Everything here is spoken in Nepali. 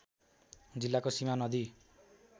जिल्लाको सीमा नदी